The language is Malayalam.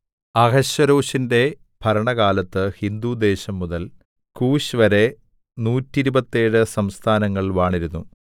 അഹശ്വേരോശിന്റെ ഭരണകാലത്ത് ഹിന്ദുദേശം മുതൽ കൂശ്‌വരെ നൂറ്റിരുപത്തേഴ് 127 സംസ്ഥാനങ്ങൾ വാണിരുന്നു